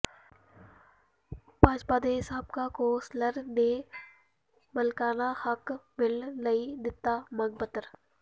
ਭਾਜਪਾ ਦੇ ਸਾਬਕਾ councillor ਨੇ ਮਾਲਕਾਨਾ ਹੱਕ ਮਿਲਣ ਲਈ ਦਿੱਤਾ ਮੰਗ ਪੱਤਰ